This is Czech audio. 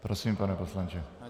Prosím, pane poslanče.